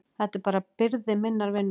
Þetta er bara byrði minnar vinnu.